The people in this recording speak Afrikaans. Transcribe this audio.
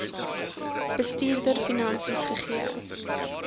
bestuurder finansies gegee